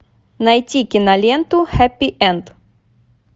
найти киноленту хэппи энд